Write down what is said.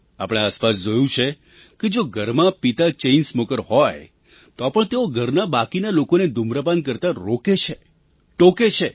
આપણે આસપાસ જોયું છે કે જો ઘરમાં પિતા ચૅઇન સ્મૉકર હોય તો પણ તેઓ ઘરના બાકીના લોકોને ધૂમ્રપાન કરતા રોકે છે ટોકે છે